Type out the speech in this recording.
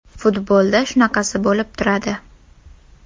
Futbolda shunaqasi bo‘lib turadi.